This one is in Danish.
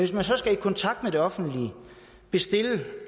så skal i kontakt med det offentlige